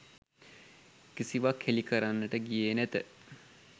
කිසිවක් හෙළිකරන්නට ගියේ නැත.